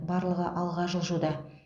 барлығы алға жылжуда